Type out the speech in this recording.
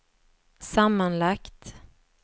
sammanlagt